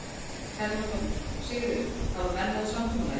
Telma Tómasson: Sigríður, hafa menn náð samkomulagi?